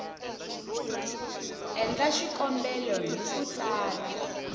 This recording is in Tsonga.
endla xikombelo hi ku tsala